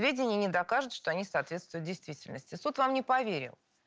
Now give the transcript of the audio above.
сведение не докажет что они соответствуют действительности суд вам не поверил